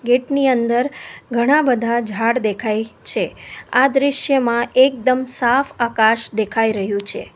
Gate ની અંદર ઘણા બધા ઝાડ દેખાય છે આ દ્રશ્યમાં એકદમ સાફ આકાશ દેખાઈ રહ્યું છે.